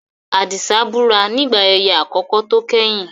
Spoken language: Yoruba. Adisa búra nígbà ayẹyẹ àkọ́kọ́ tó kẹ́yìn.